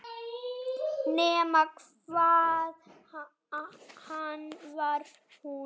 Nema hvað hann var hún.